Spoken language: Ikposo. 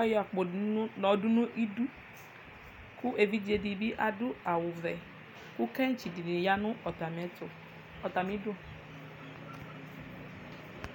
ayɔ akpo di yɔdʋ nidu kʋ evidze di bi adʋ awʋ vɛ kʋ kaŋtsi di ya nʋ atami ɛtʋ, atami idu